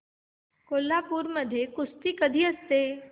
कोल्हापूर मध्ये कुस्ती कधी असते